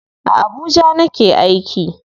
A Abuja nake aiki.